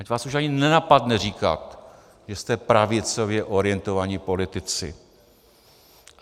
Ať vás už ani nenapadne říkat, že jste pravicově orientovaní politici!